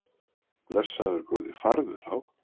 Blessaður góði farðu þá.